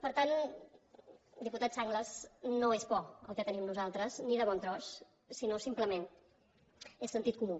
per tant diputat sanglas no és por el que tenim nosaltres ni de bon tros sinó simplement és sentit comú